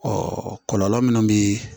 kɔlɔlɔ minnu bɛ